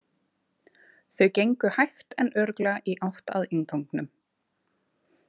Þau gengu hægt en örugglega í átt að innganginum.